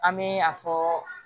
An bɛ a fɔ